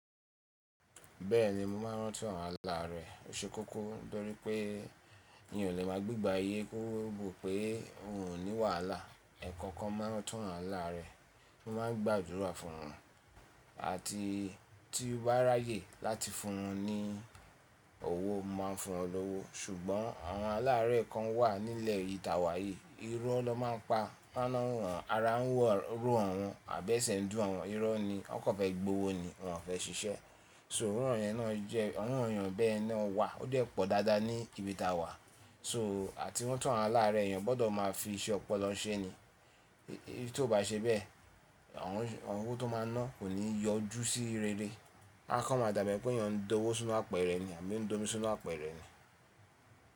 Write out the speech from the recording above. Bẹ́ẹ̀ni mo máa ń rántí àwọn aláàrẹ́ oṣe kọ́kọ́ nítorí pé n ò lè máa gbé gba iye kóròbò pé wọn ò ní wàhálà. Ẹ̀kọ́kan ma n rantún àwọn aláàrẹ́, mo ma ń gba àdúrà fún wọn àti tí ó bá ráyè láti fún wọn ní owó, mo máa fún wọn lówó ṣùgbọ́n àwọn aláàrẹ́ kan wà nílẹ̀ ìtàwà yìí, iro ló ma ń pa iná wọn, ara n río awon àbẹ́se dùn àwọn iro ni wọ́n kò fẹ́ gbowó ni wọ́n fẹ́ ṣiṣẹ́. So irú wọn yẹn náà jẹ́ irú wọn èèyàn bẹ́ẹ̀ náà wà ó dẹ̀ pọ̀ dáadáa ní ibi ìtàwà. So à ti ranti àwọn aláàrẹ́ èèyàn gbọdọ̀ máa fi iṣẹ́ ọpọlọ ṣe ni. Bí tó bá ṣe bẹ́ẹ̀, àwọn owó tó máa ná kò ní yọjú sí rere. A kò mọ dàgbà pé èèyàn ń dowó sínú àpẹ̀rẹ̀ ni àbí ń d'omi sínú àpẹ̀rẹ̀ ni.